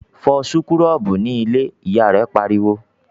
"Fọ súkúrọ́bù ní ilé!", Ìyá rẹ̀ pariwo